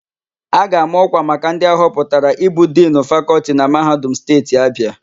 A ga-ama ọ́kwà maka ndị ahọpụtara ịbụ Dinu Fakọltị na Mahadum Steeti Abịa.